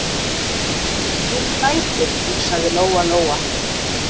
Meiri lætin, hugsaði Lóa-Lóa.